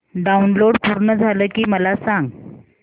download पूर्ण झालं की मला सांग